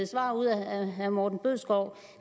svar ud af herre morten bødskov